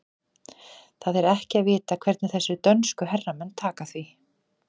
Það er ekki að vita hvernig þessir dönsku herramenn taka því.